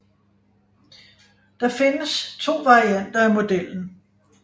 Der findes to varianter af modellen